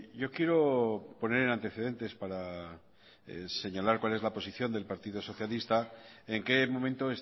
yo quiero poner en antecedentes para señalar cuál es la posición del partido socialista en que momento